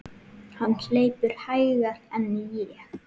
Hann hleypur hægar en ég.